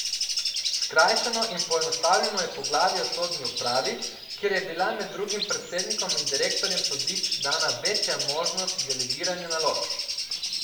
Skrajšano in poenostavljeno je poglavje o sodni upravi, kjer je bila med drugim predsednikom in direktorjem sodišč dana večja možnost delegiranja nalog.